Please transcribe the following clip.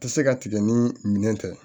Tɛ se ka tigɛ ni minɛn tɛ